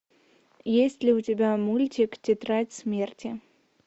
есть ли у тебя мультик тетрадь смерти